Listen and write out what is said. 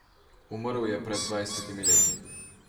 Umrl je pred dvajsetimi leti.